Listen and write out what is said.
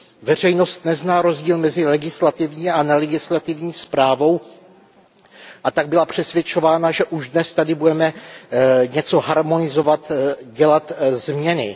Veřejnost nezná rozdíl mezi legislativní a nelegislativní zprávou, a tak byla přesvědčována, že již dnes tady budeme něco harmonizovat, dělat změny.